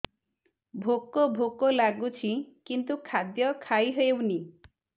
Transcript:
ଭୋକ ଭୋକ ଲାଗୁଛି କିନ୍ତୁ ଖାଦ୍ୟ ଖାଇ ହେଉନି